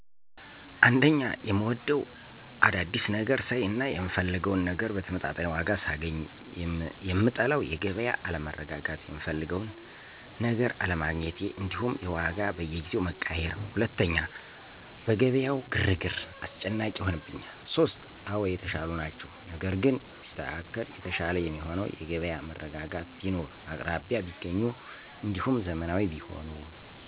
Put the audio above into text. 1, የምወደው፦ አዳዲስ ነገር ሳይ እና የምፈልገውን ነገር በተመጣጣኝ ዋጋ ሳገኝ, የምጠለው:-የገቢያ አለመረጋጋት፣ የምፈልገውን ነገር አለሜግኘቴ እንዲሁም የዋጋ በየጊዜው መቀያየር። 2, በገቢያው ግርግር፦ አስጨናቂ ይሆንብኛል። 3, አወ የተሻሉ ናቸው ነገር ግን ቢስተካከል የተሻለ የሚሆነው፦ የገበያ መረጋጋት ቢኖር፣ በአቅራቢያ ቢገኙ እንዲሁም ዘመናዊ ቢሆኑ።